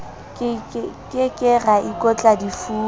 ke ke ra ikotla difuba